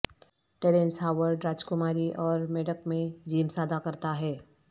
Terence Howard راجکماری اور میڑک میں جیمز ادا کرتا ہے